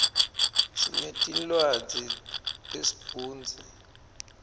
sinetinlwadzi te sibhunsi